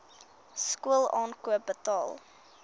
skool aankoop betaal